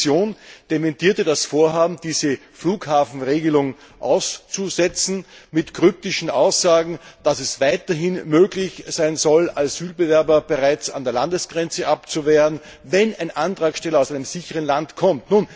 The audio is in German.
Die Kommission dementierte das Vorhaben, diese Flughafenregelung auszusetzen, mit kryptischen Aussagen, nach denen es weiterhin möglich sein soll, Asylbewerber bereits an der Landesgrenze abzuwehren, wenn ein Antragsteller aus einem sicheren Land kommt.